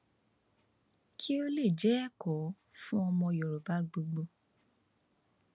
kí ó lè jẹ ẹkọ fún ọmọ yorùbá gbogbo